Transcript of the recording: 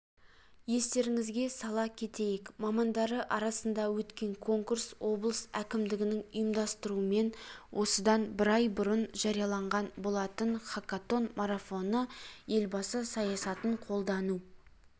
естеріңізге сала кетейік мамандары арасында өткен конкурс облыс әкімдігінің ұйымдастыруымен осыдан бір ай бұрын жарияланған болатын хакатон марафоны елбасы саясатын қолдау